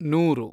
ನೂರು